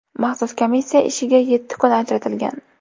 Maxsus komissiya ishiga yetti kun ajratilgan.